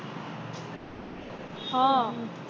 હ